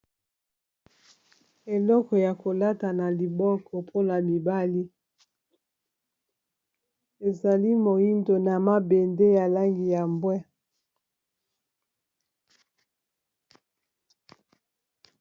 Eloko ya kolata na liboko mpona mibali ezali moyindo na mabende ya langi ya mbwe.